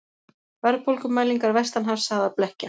Verðbólgumælingar vestanhafs sagðar blekkja